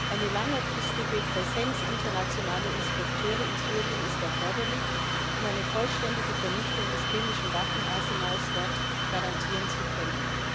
Eine längerfristige Präsenz internationaler Inspekteure in Syrien ist erforderlich, um eine vollständige Vernichtung des chemischen Waffenarsenals dort garantieren zu können.